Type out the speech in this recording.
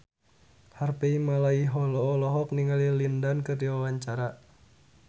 Harvey Malaiholo olohok ningali Lin Dan keur diwawancara